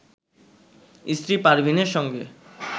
স্ত্রী পারভিনের সঙ্গে